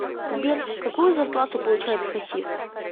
сбер какую зарплату получает хасис